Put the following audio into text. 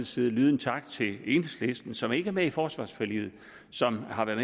side lyde en tak til enhedslisten som ikke er med i forsvarsforliget og som har været